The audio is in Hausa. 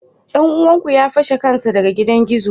Dan uwanku ya fashe kansa daga gidan gizo?